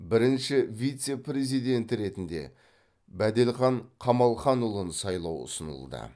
бірінші вице президенті ретінде бәделхан камалханұлын сайлау ұсынылды